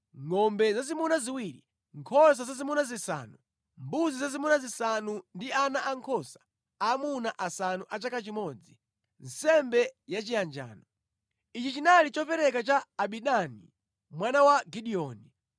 ngʼombe zazimuna ziwiri, nkhosa zazimuna zisanu, mbuzi zazimuna zisanu, ndi ana ankhosa aamuna asanu a chaka chimodzi, nsembe yachiyanjano. Ichi chinali chopereka cha Abidani mwana wa Gideoni.